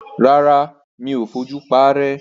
Rárá, mi ò fojú paárẹ́.